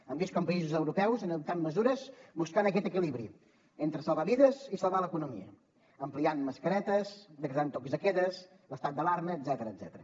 hem vist com països europeus han adoptat mesures buscant aquest equilibri entre salvar vides i salvar l’economia ampliant mascaretes decretant tocs de queda l’estat d’alarma etcètera